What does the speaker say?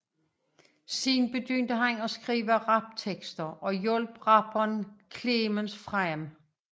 Senere begyndte han at skrive raptekster og hjalp rapperen Clemens frem